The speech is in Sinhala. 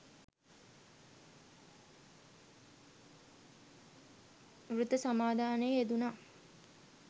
ව්‍රත සමාදානයේ යෙදුණා